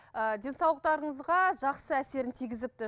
ыыы денсаулықтарыңызға жақсы әсерін тигізіпті